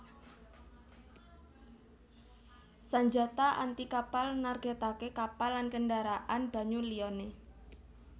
Sanjata anti kapal nargètaké kapal lan kendharaan banyu liyané